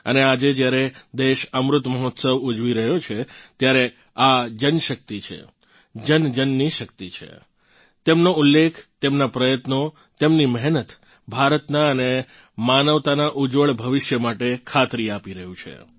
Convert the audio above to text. અને આજે જ્યારે દેશ અમૃત મહોત્સવ ઉજવી રહ્યો છે ત્યારે આ જનશક્તિ છે જનજનની શક્તિ છે તેમનો ઉલ્લેખ તેમનાં પ્રયત્નો તેમની મહેનત ભારતનાં અને માનવતાનાં ઉજ્જવળ ભવિષ્ય માટે ખાતરી આપી રહ્યું છે